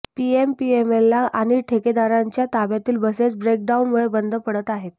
PMPML आणि ठेकेदारांच्या ताब्यातील बसेस ब्रेकडाऊनमुळे बंद पडत आहे